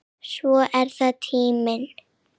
Svo er það tíminn.